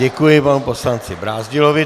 Děkuji panu poslanci Brázdilovi.